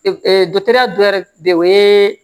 de o ye